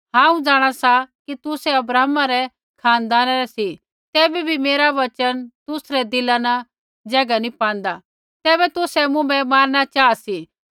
हांऊँ जाँणा सा कि तुसै अब्राहमा रै खानदाना रै सी तैबै भी मेरा वचन तुसरै दिला न ज़ैगा नी पाँदा तैबै तुसै मुँभै मारणा चाहा सी